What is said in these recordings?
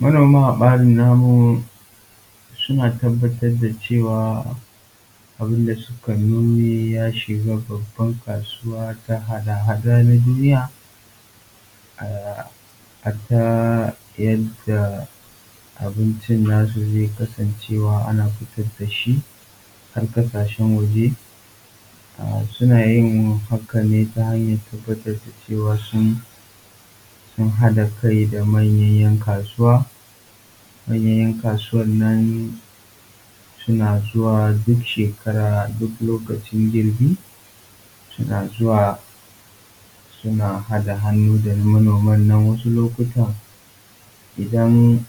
Manoma a ɓarin namu suna tabbatar da cewa abin da suka noma ya shiga babban kasuwa ta hada-hadar duniya, hatta yadda abincin su zai kasance ana fitar da shi har ƙasashen waje. Suna yin hakan ne ta hanyar tabbatar da cewa sun haɗa kai da manyan ’yan kasuwa. Manyan ’yan kasuwa nan suna zuwa duk shekara duk lokacin girbi, suna zuwa suna haɗa hannu da manoman nan. Wasu lokuta idan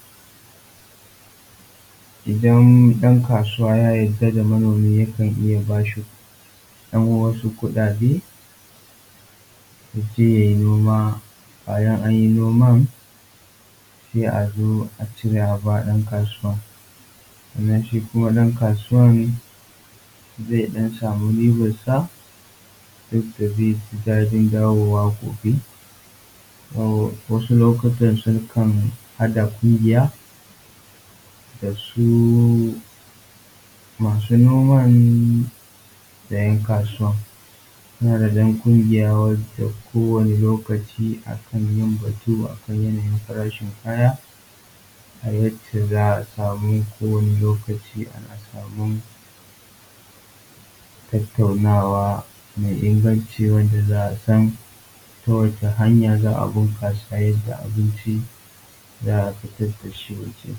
ɗan kasuwa ya yarda da manomi yakan iya ba shi yan wasu kuɗaɗe ya je ya yi noma. Bayan an yi noma sai a zo a cire a ba ɗan kasuwa, sannan kuma shi ɗan kasuwa zai ɗan samu ribansa yadda zai ji daɗin dawowa gobe. To wasu lokuta sukan haɗa ƙungiya da su masu noman da ’yan kasuwan. Haɗa ƙungiya wanda ko wane lokaci akan yin batu akan yanayin farashin kaya, a yadda za a samu ko wane lokaci akan samu tattaunawa mai inganci, wanda za a san ta wace hanya za a bunƙasa yadda abinci za a fitar da shi waje.